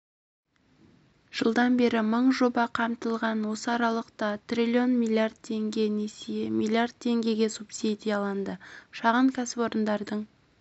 жылдан бері мың жоба қамтылған осы аралықта триллион миллиард теңге несие миллиард теңгеге субсидияланды шағын кәсіпорындардың